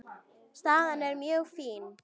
Staðan er mjög fín.